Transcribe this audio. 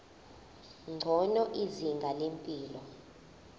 ngcono izinga lempilo